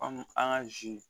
an ka zi